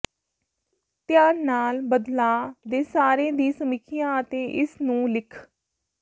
ਧਿਆਨ ਨਾਲ ਬਦਲਾਅ ਦੇ ਸਾਰੇ ਦੀ ਸਮੀਖਿਆ ਅਤੇ ਇਸ ਨੂੰ ਲਿਖ